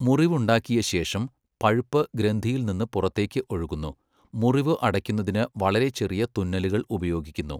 മുറിവുണ്ടാക്കിയ ശേഷം, പഴുപ്പ് ഗ്രന്ഥിയിൽ നിന്ന് പുറത്തേക്ക് ഒഴുകുന്നു, മുറിവ് അടയ്ക്കുന്നതിന് വളരെ ചെറിയ തുന്നലുകൾ ഉപയോഗിക്കുന്നു.